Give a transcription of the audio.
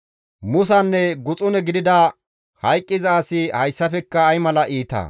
Musanne guxune gidada hayqqiza asi hessafekka ay mala iita!»